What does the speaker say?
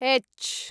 हेच्च्